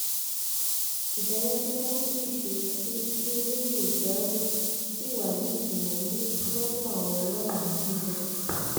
ìdájọ tí wọn sì ṣe ni pé kí olóyè ìgbárò síi wà nítìmọlé lọdọ àwọn lọhùnún níbẹ